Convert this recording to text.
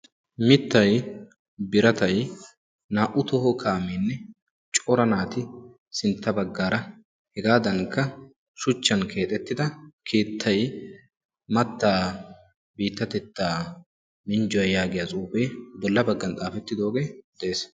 mitay biratay naa'u toho kaaameene cora naati sinta bagaara hegaadanikka shucchan keexxettida keettay mattaa biitatettaa minjjuwa yaagiya xuufee bola bagan xaafettidogee de'ees.